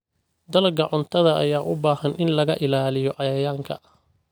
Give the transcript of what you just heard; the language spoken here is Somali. Dalagga cuntada ayaa u baahan in laga ilaaliyo cayayaanka.